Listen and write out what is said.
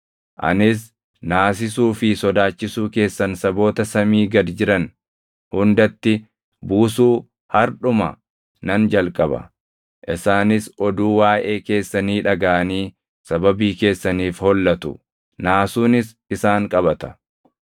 Anis naasisuu fi sodaachisuu keessan saboota samii gad jiran hundatti buusuu hardhuma nan jalqaba. Isaanis oduu waaʼee keessanii dhagaʼanii sababii keessaniif hollatu; naasuunis isaan qabata.”